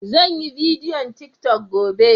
Sanyi bidiyon tiktok gobe.